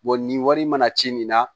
nin wari mana ci nin na